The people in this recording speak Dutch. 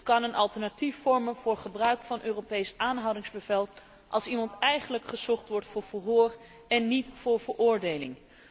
Het kan een alternatief vormen voor het Europees aanhoudingsbevel, als iemand eigenlijk gezocht wordt voor verhoor en niet voor veroordeling.